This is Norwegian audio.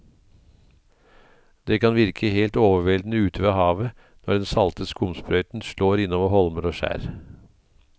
Det kan virke helt overveldende ute ved havet når den salte skumsprøyten slår innover holmer og skjær.